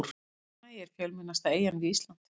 Heimaey er fjölmennasta eyjan við Ísland.